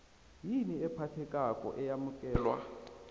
yini ephathekako eyamukelwa